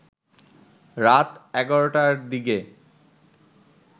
রাত ১১টার দিকে